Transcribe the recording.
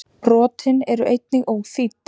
Brotin eru einnig óþýdd.